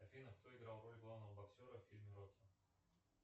афина кто играл роль главного боксера в фильме рокки